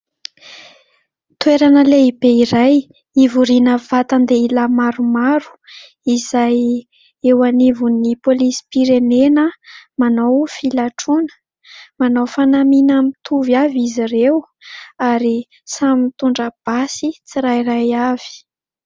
Toerana lehibe iray; hivoriana vatan-dehilahy maromaro izay eo anivon'ny polisim-pirenena manao filatroana. Manao fanamiana mitovy avy izy ireo ary samy mitondra basy tsirairay avy.